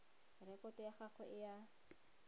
rekoto ya gagwe e a